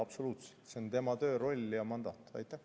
Absoluutselt, see on tema töö, roll ja mandaat.